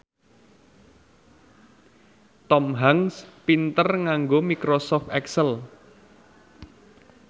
Tom Hanks pinter nganggo microsoft excel